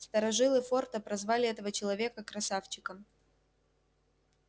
старожилы форта прозвали этого человека красавчиком